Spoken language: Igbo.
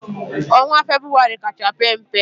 Onwa febụwarị kacha pe mpe